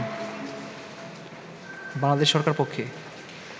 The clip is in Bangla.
বাংলাদেশ সরকারের পক্ষে